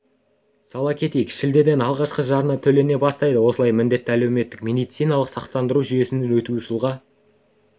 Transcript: сала кетейік шілдеден алғашқы жарна төлене бастайды осылай міндетті әлеуметтік медициналық сақтандыру жүйесіне өту жылға